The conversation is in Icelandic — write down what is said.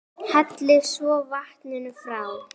Hellið svo vatninu frá.